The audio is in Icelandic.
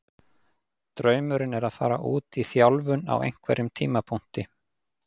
Draumurinn er að fara út í þjálfun á einhverjum tímapunkti.